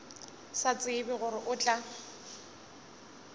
sa tsebe gore o tla